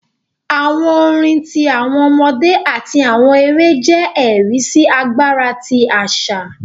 Àwọn orin ti awọn ọmọdé ati awọn èrè jẹ ẹri si agbara ti aṣa.